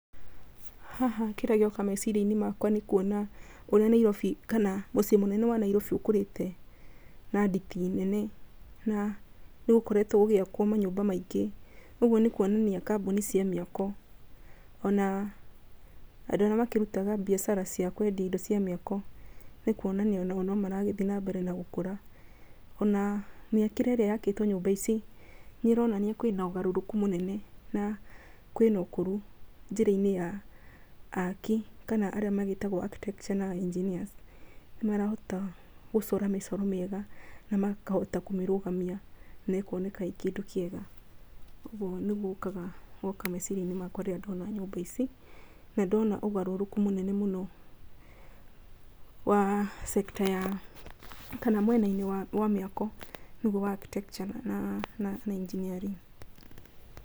Haha kĩrĩa gĩoka meciria-inĩ makwa, nĩ kuona ũrĩa Nairobi kana mũciĩ mũnene wa Nairobi ũkũrĩte na nditi nene na nĩ gũkoretwo gũgiakwo manyũmba maingĩ. Ũguo nĩ kuonania kambuni cia mĩako ona andũ arĩa makĩrutaga mbiacara cia kwendia indo cia mĩako, nĩ kuonania onao nĩ marathiĩ na mbere na gũkũra. O na mĩakire ĩrĩa yakĩtwo nyũmba ici nĩ ĩronania kwĩna ũgarũrũku mũnene na kwĩna ũkũrũ njĩra-inĩ ya aki kana arĩa magĩtagwo architecture na engineers, nĩ marahota gũcora mĩcoro mĩega na makahota kũmĩrũgamia na ĩkoneka ĩ kĩndũ kĩega. Ũguo nĩguo ũkaga meciria-inĩ makwa rĩrĩa ndona nyũmba ici na ndona ũgarũrũku mũnene mũno wa sector ya kana mwena-inĩ wa mĩako nĩguo wa cs] architecture na engineering.